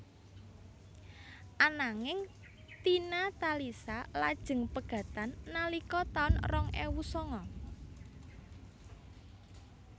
Ananging Tina Talisa lajeng pegatan nalika taun rong ewu sanga